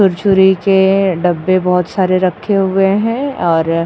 छुरछुरी के डब्बे बहोत सारे रखे हुए हैं और --